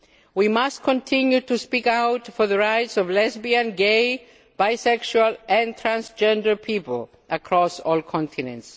We must continue to speak out for the rights of lesbian, gay, bisexual and transgender people across all continents.